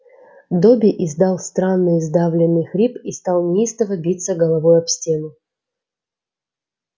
добби издал странный сдавленный хрип и стал неистово биться головой об стену